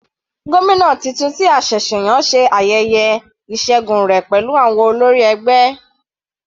Gómìnà titun tí a ṣẹ̀ṣẹ̀ yàn ṣe ayẹyẹ ìṣẹgun rẹ̀ pẹ̀lú àwọn olórí ẹgbẹ́.